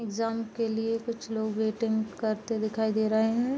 Exam के लिए कुछ लोग वेटिंग करते दिखाई दे रहे हैं।